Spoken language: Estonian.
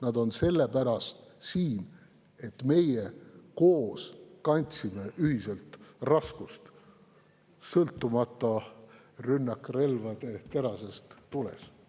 Nad on sellepärast siin, et meie koos kandsime ühiselt raskust, sõltumata rünnakrelvade terasest tulest.